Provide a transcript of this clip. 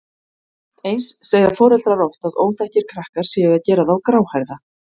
Eins segja foreldrar oft að óþekkir krakkar séu að gera þá gráhærða.